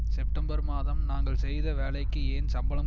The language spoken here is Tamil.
செப்டெம்பர் மாதம் நாங்கள் செய்த வேலைக்கு ஏன் சம்பளம்